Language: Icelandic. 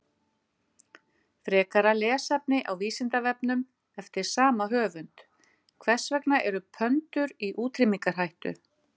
Frekara lesefni á Vísindavefnum eftir sama höfund: Hvers vegna eru pöndur í útrýmingarhættu?